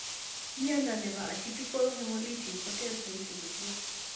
Mnyondo nebo Atypical hemolytic koter saiti kosir